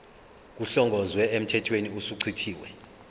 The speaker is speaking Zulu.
kuhlongozwe emthethweni osuchithiwe